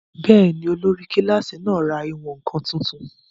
Bẹ́ẹ̀ni, olórí kílásì náà ra ìwọ̀n-ǹkan tuntun